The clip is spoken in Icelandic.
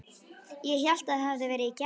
Ég hélt það hefði verið í gær.